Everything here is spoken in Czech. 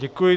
Děkuji.